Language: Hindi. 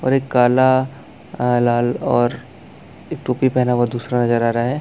और एक काला लाल और एक टोपी पहना हुआ दुसरा नज़र आ रहा है।